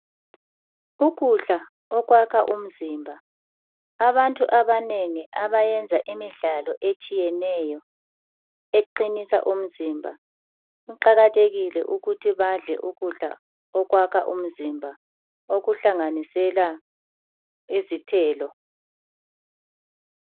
Ukudla okwakha umzimba. Abantu abanengi abayenza imidlalo etshiyeneyo eqinisa umzimba kuqakathekile ukuthi badle ukudla okwakha umzimba okuhlanganisela izithelo.